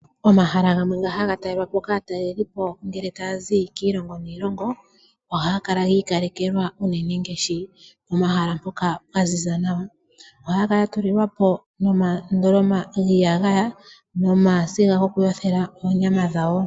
Omahala gamwe nga haga talelwa po kaatalelipo ngele taya zi kiilongo niilongo, ohaga kala giikalekelwa unene ngaashi pomahala mpoka pwaziza nawa. Ohaya kala ya tulilwa po omandoloma giiyagaya nomasiga gokuyothela oonyama dhawo.